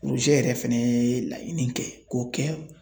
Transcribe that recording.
porozɛ yɛrɛ fɛnɛ ye laɲini kɛ k'o kɛ